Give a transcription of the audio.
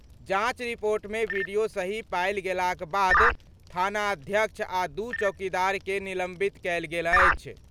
जांच रिपोर्ट मे वीडियो सही पायल गेलाक बाद थानाध्यक्ष आ दू चौकीदार के निलंबित कयल गेल अछि।